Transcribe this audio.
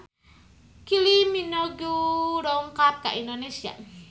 Kylie Minogue dongkap ka Indonesia